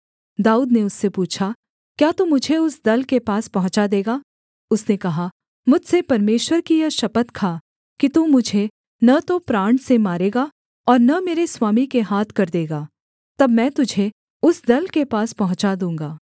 दाऊद ने उससे पूछा क्या तू मुझे उस दल के पास पहुँचा देगा उसने कहा मुझसे परमेश्वर की यह शपथ खा कि तू मुझे न तो प्राण से मारेगा और न मेरे स्वामी के हाथ कर देगा तब मैं तुझे उस दल के पास पहुँचा दूँगा